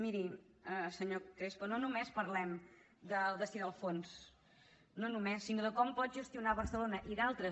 miri senyor crespo no només parlem del destí del fons no només sinó de com pot gestionar barcelona i d’altres